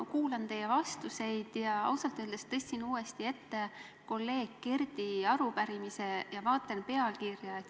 Ma kuulasin teie vastuseid ja ausalt öeldes tõstsin uuesti ette kolleeg Kerdi arupärimise, et vaadata selle pealkirja.